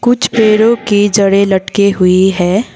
कुछ पेड़ों की जड़े लटकी हुई है।